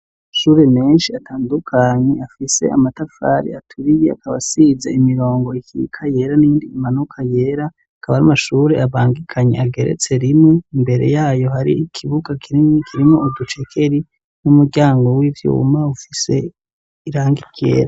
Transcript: Amashure menshi atandukanye afise amatafari aturiye akaba asize imirongo ikika yera n'iyindi imanuka yera akaba ari amashuri abangikanye ageretse rimwe imbere yayo hari ikibuga kinini kirimwo uducekeri n'umuryango wivyuma ufise irangi ryera.